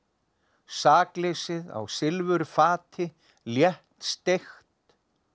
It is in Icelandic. sakleysið á silfurfati léttsteikt